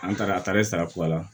An taara a taara sara kula